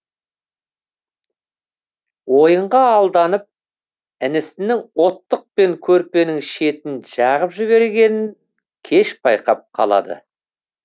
ойынға алданып інісінің оттықпен көрпенің шетін жағып жібергенін кеш байқап қалады